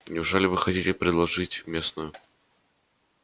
неужели вы хотите предложить местную